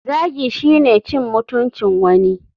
Zagi shine cin mutuncin wani.